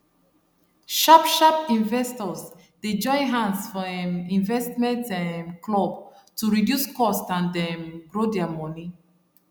sharp sharp investors dey join hands for um investment um club to reduce cost and um grow their money